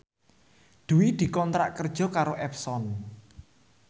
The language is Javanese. Dwi dikontrak kerja karo Epson